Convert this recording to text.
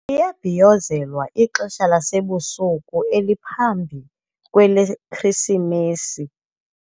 Liyabhiyozelwa ixeshalasebusuku eliphambi kweleKrisimesi.